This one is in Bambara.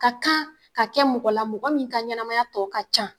Ka kan ka kɛ mɔgɔ la mɔgɔ min ka ɲɛnamaya tɔ ka can.